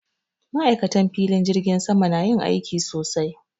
Ma'aikatan filin jirgin sama na yin aiki sosai